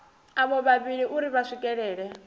avho vhavhili uri vha swikelele